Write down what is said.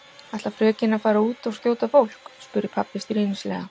Ætlar frökenin að fara út og skjóta fólk? spurði pabbi stríðnislega.